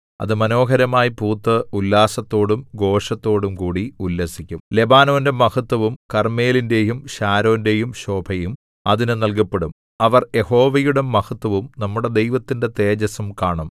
അത് മനോഹരമായി പൂത്ത് ഉല്ലാസത്തോടും ഘോഷത്തോടും കൂടി ഉല്ലസിക്കും ലെബാനോന്റെ മഹത്ത്വവും കർമ്മേലിന്റെയും ശാരോന്റെയും ശോഭയും അതിന് നൽകപ്പെടും അവർ യഹോവയുടെ മഹത്ത്വവും നമ്മുടെ ദൈവത്തിന്റെ തേജസ്സും കാണും